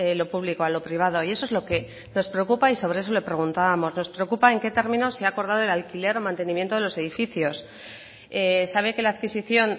lo público a lo privado y eso es lo que nos preocupa y sobre eso le preguntábamos nos preocupa en qué términos se ha acordado el alquiler o mantenimiento de los edificios sabe que la adquisición